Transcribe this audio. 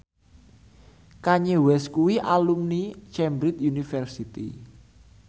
Kanye West kuwi alumni Cambridge University